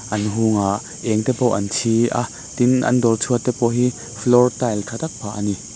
an a eng te pawh an chi a tin an dawr chhuat te pawh hi floor tile tha tak phah a ni.